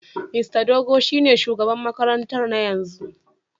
Mista Dogo shine shugaban makarantar na yanzu.